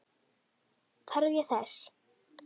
Þarf ég þess?